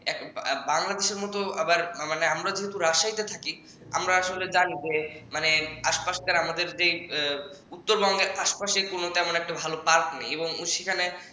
বাংলাদেশের মত আমরা যেহেতু রাজশাহীতে থাকি আমরা আসলে জানি যে মানে আশপাশ আমাদের যে উত্তরবঙ্গের আশপাশে কোনো তেমন একটা ভালো একটা park নেই